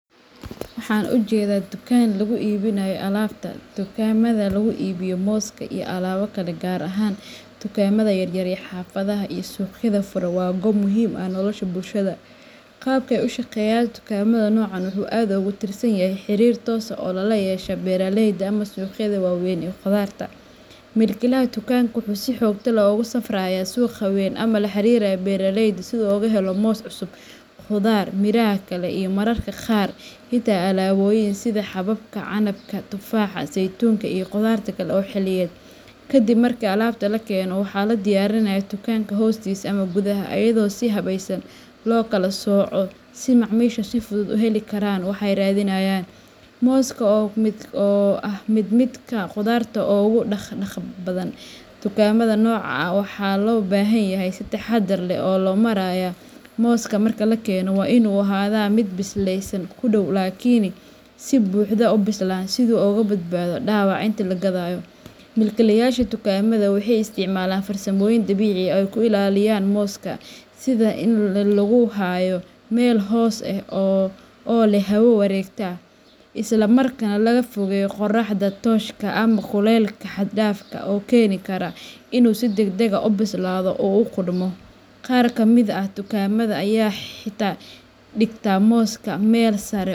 Waxan ujedaa dukan lagu ibininayo alabta .Dukaamada lagu iibiyo mooska iyo alaabo kale gaar ahaan dukaamada yar yar ee xaafadaha iyo suuqyada furan waa goob muhiim u ah nolosha bulshada. Qaabka ay u shaqeeyaan dukaamada noocan ah wuxuu aad ugu tiirsan yahay xiriir toos ah oo lala yeesho beeraleyda ama suuqyada waaweyn ee khudaarta. Milkiilaha dukaanka wuxuu si joogto ah ugu safrayaa suuqa weyn ama la xiriiraa beeraley si uu uga helo moos cusub, khudaar, miraha kale, iyo mararka qaar xitaa alaabooyin sida xabbadda canabka, tufaaxa, saytuunka, iyo khudaar kale oo xilliyeed. Kadib marka alaabta la keeno, waxaa la diyaariyaa dukaanka hortiisa ama gudaha, iyadoo si habaysan loo kala sooco si macaamiishu si fudud u heli karaan waxa ay raadinayaan. Mooska oo ah mid ka mid ah khudaarta ugu dhaq-dhaqaaqa badan dukaamada noocan ah, waxaa loo baahan yahay in si taxadar leh loo maareeyo. Mooska marka la keenayo waa inuu ahaadaa mid bislaansho ku dhow laakiin aan wali si buuxda u bislaan, si uu uga badbaado dhaawac inta la gadayo. Milkiilayaasha dukaamada waxay isticmaalaan farsamooyin dabiici ah oo ay ku ilaaliyaan mooska, sida in lagu hayo meel hoos leh oo leh hawo wareegta, isla markaana laga fogeeyo qorraxda tooska ah ama kulaylka xad dhaafka ah oo keeni kara inuu si degdeg ah u bislaado oo uu qudhmo. Qaar ka mid ah dukaamada ayaa xitaa dhigta mooska meel sare.